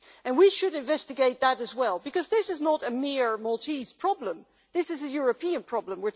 We should investigate that as well, because this is not a mere Maltese problem this is a European problem.